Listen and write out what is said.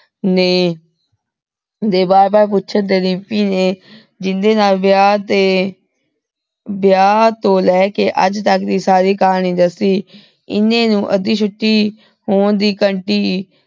ਨੇ ਦੋ ਬਾਰ ਬਾਰ ਪੋਚਣ ਤੇ ਰਿਮਪੀ ਨੇ ਜਿੰਦੇ ਨਾਲ ਵਿਆਹ ਦੇ ਵਿਆਹ ਤੋਂ ਲੇ ਕੇ ਅਜ ਤਕ ਦੀ ਸਾਰੀ ਕਹਾਨੀ ਦੱਸੀ ਏਨਾਨੀ ਨੂ ਅਧਿ ਛੁਟੀ ਹੋਣ ਦੀ ਘੰਟੀ